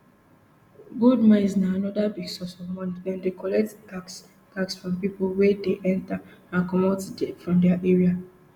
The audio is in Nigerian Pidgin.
gold mines na anoda big source of money dem dey collect tax tax from pipo wey dey enta and comot from dia area